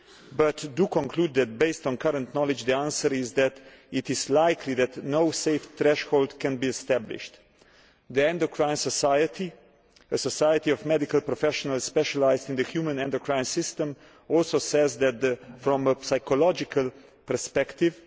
but it does conclude that, based on current knowledge, the answer is that it is likely that no safe threshold can be established. The Endocrine Society, a society of medical professionals specialised in the human endocrine system, also says that from a psychological perspective,